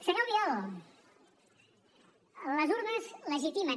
senyor albiol les urnes legitimen